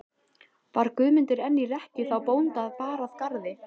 Var Guðmundur enn í rekkju þá bónda bar að garði.